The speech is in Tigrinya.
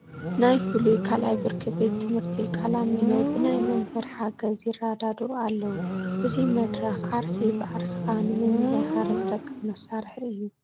ናይ ፍሉይ ካልኣይ ብርኪ ቤት ትምህርቲ ቃላሚኖ ብናይ መምህር ሓገዝ ይረዳድኡ ኣለዉ፡፡ እዚ መድረኽ ዓርሲ ብዓርስኻ ንምምህሃር ዝጠቅም መሳርሒ እዩ፡፡